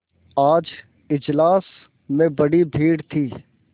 आज इजलास में बड़ी भीड़ थी